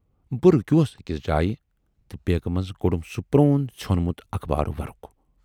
بہٕ رُکیوس ٲکِس جایہِ تہٕ بیگہٕ منزٕ کوڈُم سُہ پرون ژھیونمُت اخبارٕ ورُق۔